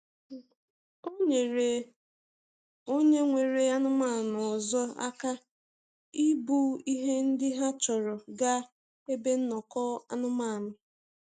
O nyeere onye nwere anụmanụ ọzọ aka ibu ihe ndị ha chọrọ gaa ebe nnọkọ anụmanụ.